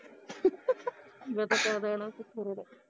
ਕੀ ਪਤਾ ਕਦ ਆਉਣਾ ਅਸੀਂ ਖਰੜ